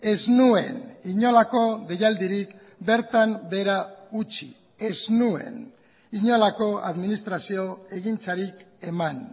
ez nuen inolako deialdirik bertan behera utzi ez nuen inolako administrazio egintzarik eman